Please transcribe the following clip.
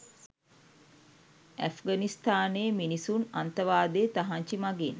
ඇෆ්ඝනිස්ථානයේ මිනිසුන් අන්තවාදයේ තහංචි මගින්